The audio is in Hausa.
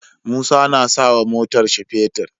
Musa na sawa motar shi fetir